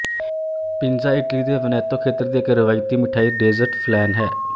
pinza Italy ਦੇ Veneto ਖੇਤਰ ਦੀ ਇੱਕ ਰਵਾਇਤੀ ਮਿਠਾਈ ਡੇਜ਼ਰਟ ਫਲੈਨ ਹੈ